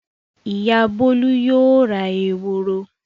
Ìyá Bólú yóò ra eworo.